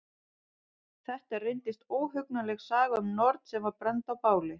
Þetta reyndist óhugnanleg saga um norn sem var brennd á báli.